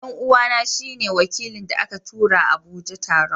dan'uwana shi ne wakilin da aka tura Abuja taron.